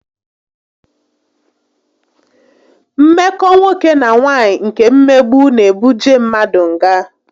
Mmeko nwoke na nwaanyị nke mmegbu n'ebuje mmadu ngá